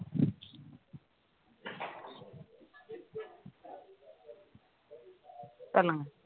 சொல்லுங்க